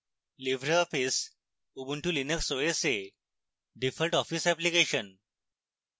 libreoffice ubuntu linux os এ default office application